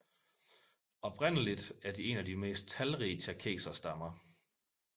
Oprindeligt er de en af de mest talrige tjerkesserstammer